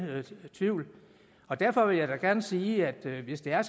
tvivl derfor vil jeg da gerne sige at hvis det er